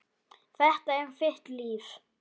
Þetta er þitt líf